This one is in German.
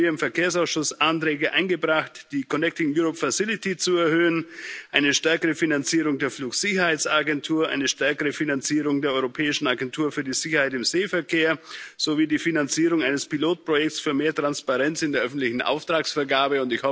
Deswegen haben wir im Verkehrsausschuss Anträge eingebracht, die Fazilität Connecting Europe zu erhöhen, eine stärkere Finanzierung der Flugsicherheitsagentur, eine stärkere Finanzierung der Europäischen Agentur für die Sicherheit im Seeverkehr sowie die Finanzierung eines Pilotprojekts für mehr Transparenz in der öffentlichen Auftragsvergabe.